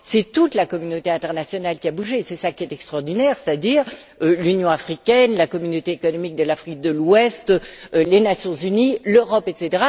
C'est toute la communauté internationale qui a bougé c'est cela qui est extraordinaire c'est à dire l'Union africaine, la communauté économique de l'Afrique de l'Ouest, les Nations unies, l'Europe, etc.,